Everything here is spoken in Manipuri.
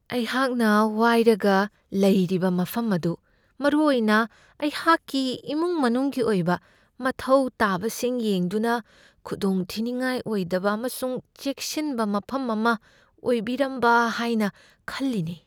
ꯑꯩꯍꯥꯛꯅ ꯋꯥꯏꯔꯒ ꯂꯩꯔꯤꯕ ꯃꯐꯝ ꯑꯗꯨ ꯃꯔꯨꯑꯣꯏꯅ ꯑꯩꯍꯥꯛꯀꯤ ꯏꯃꯨꯡ ꯃꯅꯨꯡꯒꯤ ꯑꯣꯏꯕ ꯃꯊꯧ ꯇꯥꯕꯁꯤꯡ ꯌꯦꯡꯗꯨꯅ, ꯈꯨꯗꯣꯡꯊꯤꯅꯤꯡꯉꯥꯏ ꯑꯣꯏꯗꯕ ꯑꯃꯁꯨꯡ ꯆꯦꯛꯁꯤꯟꯕ ꯃꯐꯝ ꯑꯃ ꯑꯣꯏꯕꯤꯔꯝꯕ ꯍꯥꯏꯅ ꯈꯜꯂꯤꯅꯦ ꯫